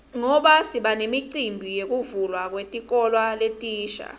ngoba sibanemicimbi yekuvulwa kwetikolo letisha